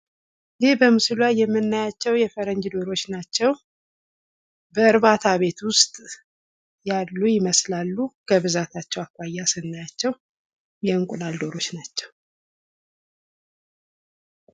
ይህ በምስሉ ላይ የምናያቸው የፈረንጅ ዶሮዎች ናቸው። በእርባታ ቤት ውስጥ ያሉ ይመስላሉ ከብዛታቸው አኳያ ስናያቸው የእንቁላል ዶሮዎች ናቸው።